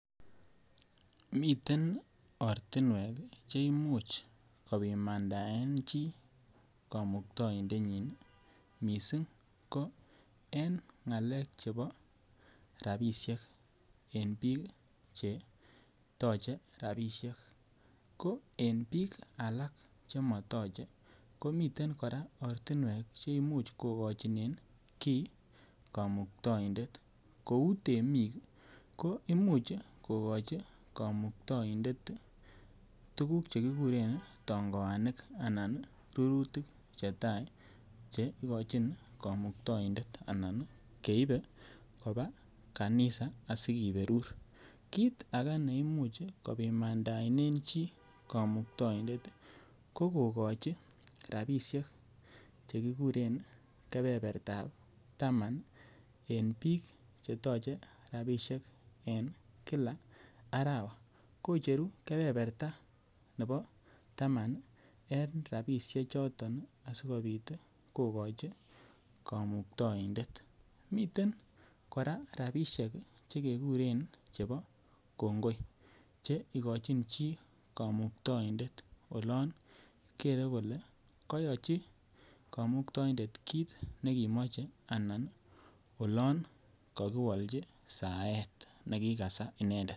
Miten ortinwek che imuch kopimandaen chi komukto indenyin missing ko en ngalek chebo rabishek en biik che toche rabishek ko en biik alak che motoche ko miten koraa ortinwek che imuch kogochinen kii komuktoindet kouu temik ko imuch kogochi komuktoindet ii tuguk che kiguren tongoanik anan rurutik che tai che igochin komuktoindet anan keibe kobaa kanisa asi kiberur. Kit age ne imuch kopimandaen chi komuktoindet ii ko kogochi rabishek che kiguren kebebertab taman en biik che toche rabishek en Kila arawa kocheru kebeberta nebo taman en rabishek choton asikopit kogochi komuktoindet. Miten koraa rabishek ii che keguren chebo kongoi che igochin chi komuktoindet olon gere kole koyochi komuktoindet kit nekimoche anan olon kokiwolchi saet nekikasaa inendet